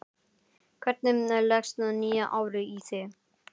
Hvernig leggst nýja árið í þig?